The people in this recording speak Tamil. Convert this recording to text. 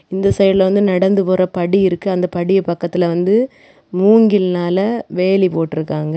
இந்த சைடுல வந்து நடந்து போற படி இருக்கு அந்த படி பக்கத்துல வந்து மூங்கில்னால வேலி போட்ருக்காங்க.